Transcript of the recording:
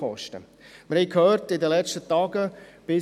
Wir haben es in den vergangenen Tagen gehört: